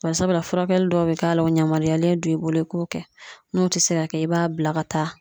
Barisabula furakɛli dɔw be k'a la a yamaruyalen don i bolo i k'o kɛ n'o te se ka kɛ i b'a bila ka taa